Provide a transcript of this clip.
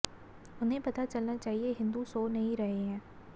उन्हें पता चलना चाहिए हिंदू सो नहीं रहे हैं